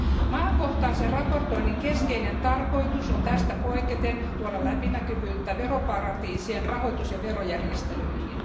Maakohtaisen raportoinnin keskeinen tarkoitus on tästä poiketen tuoda läpinäkyvyyttä veroparatiisien rahoitus ja verojärjestelyihin.